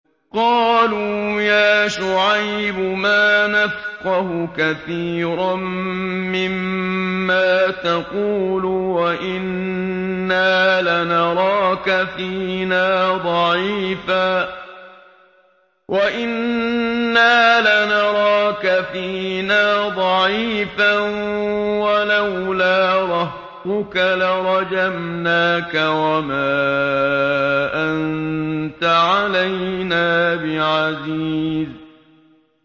قَالُوا يَا شُعَيْبُ مَا نَفْقَهُ كَثِيرًا مِّمَّا تَقُولُ وَإِنَّا لَنَرَاكَ فِينَا ضَعِيفًا ۖ وَلَوْلَا رَهْطُكَ لَرَجَمْنَاكَ ۖ وَمَا أَنتَ عَلَيْنَا بِعَزِيزٍ